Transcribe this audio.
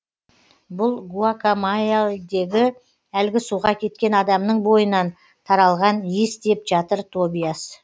бұл гуакамайяльдегі әлгі суға кеткен адамның бойынан таралған иіс деп жатыр тобиас